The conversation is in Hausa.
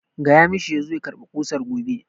Tell him to come for the nails tomorrow!